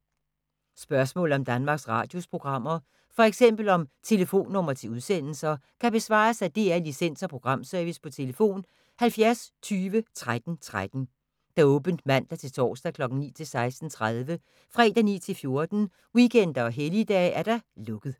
Spørgsmål om Danmarks Radios programmer, f.eks. om telefonnumre til udsendelser, kan besvares af DR Licens- og Programservice: tlf. 70 20 13 13, åbent mandag-torsdag 9.00-16.30, fredag 9.00-14.00, weekender og helligdage: lukket.